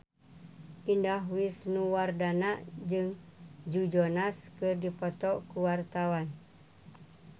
Indah Wisnuwardana jeung Joe Jonas keur dipoto ku wartawan